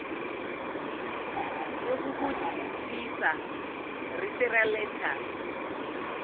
yokukudlulisa referral letter